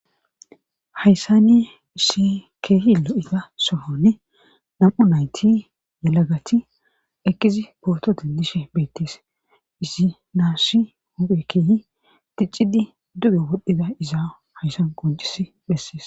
Hayssanni ishi keehi lo7ita somonne nam'u nayti yalagati ekizi pooto dindishe beettees izi naasshi huphe keehi ticcidi duge wodhdhida izaa hayssan qoncis bessees.